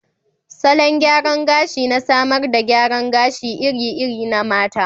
Salon gyaran gashi na samar da gyaran gashi iri-iri na mata.